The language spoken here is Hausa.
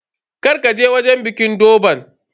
Kar ka je wajen bikin durban.